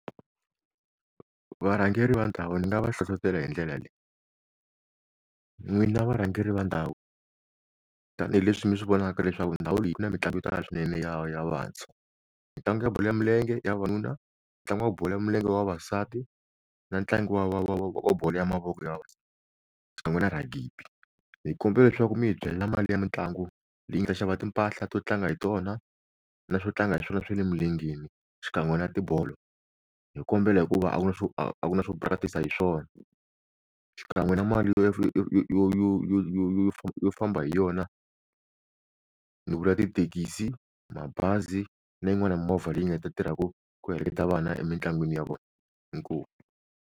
Varhangeri va ndhawu ni nga va hlohlotela hi ndlela leyi n'wina varhangeri va ndhawu tanihileswi mi swi vonaka leswaku ndhawu leyi na mitlangu yo tala swinene ya ya ya vantshwa mitlangu ya bolo ya milenge ya vavanuna ntlangu wa bolo ya milenge ya vavasati na ntlangu wa wa wa wa bolo ya mavoko ya xikan'we na ragibi hi kumbela leswaku mi hi byela mali ya mitlangu leyi ni ta xava timpahla to tlanga hi tona na swo tlanga hi swona swa le mugangeni xikan'we na tibolo hi kombela hikuva a ku na swo a ku na swo practice-sa hi swona xikan'we na mali yo yo yo yo yo famba hi yona ni vula tithekisi, mabazi na yin'wani hi movha leyi nga ta tirhaka ku heleketa vana emintlangwini ya vona, i nkomu.